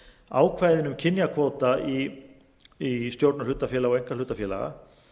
ákvæðin um kynjakvóta í stjórnum hlutafélaga og einkahlutafélaga